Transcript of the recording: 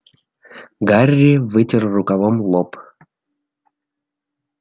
гарри вытер рукавом лоб